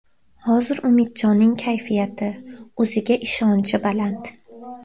Hozir Umidjonning kayfiyati, o‘ziga ishonchi baland”.